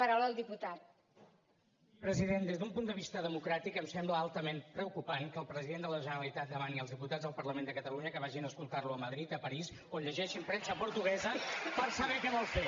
president des d’un punt de vista democràtic em sembla altament preocupant que el president de la generalitat demani als diputats del parlament de catalunya que vagin a escoltar lo a madrid a parís o llegeixin premsa portuguesa per saber què vol fer